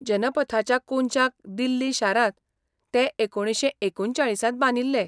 जनपथाच्या कोनशाक दिल्ली शारांत तें एकुणशे एकूणचाळिसांत बांदिल्लें.